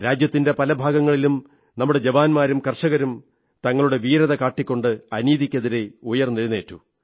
രാജ്യത്തിന്റെ പല ഭാഗങ്ങളിലും നമ്മുടെ ജവാന്മാരും കർഷകരും തങ്ങളുടെ വീരത കാട്ടിക്കൊണ്ട് അനീതിക്കെതിരെ ഉയർന്നെണീറ്റു